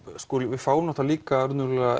við fáum náttúrulega líka